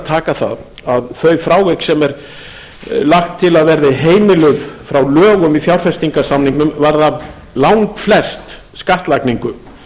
taka það að þau frávik sem verða heimiluð frá lögum í fjárfestingarsamningnum varða langflest skattlagningu